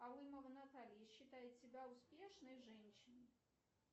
алымова наталья считает себя успешной женщиной